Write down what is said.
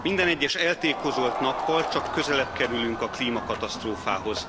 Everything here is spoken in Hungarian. Minden egyes eltékozolt nappal csak közelebb kerülünk a klímakatasztrófához.